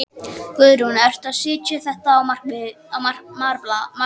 Guðrún: Ertu að setja þetta á markað?